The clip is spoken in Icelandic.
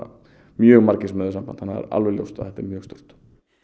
mjög margir sem höfðu samband þannig að það er alveg ljóst að þetta er mjög stórt